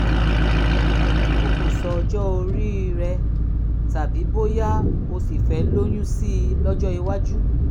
o kò sọ ọjọ́ orí rẹ tàbí bóyá o ṣì fẹ́ lóyún sí i lọ́jọ́ iwájú